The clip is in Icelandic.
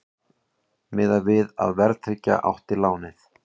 Miðað við að verðtryggja átti lánið